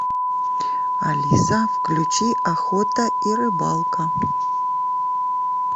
алиса включи охота и рыбалка